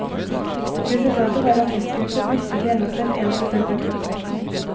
Resultatet var at testgruppen mistet i gjennomsnitt én prosent av kroppsvekten.